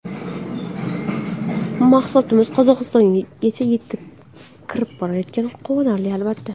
Mahsulotlarimiz Qozog‘istongacha kirib borayotgani quvonarli, albatta”.